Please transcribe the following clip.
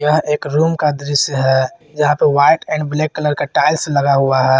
यह एक रूम का दृश्य है यहां पे व्हाइट एंड ब्लैक कलर का टाइल्स लगा हुआ है।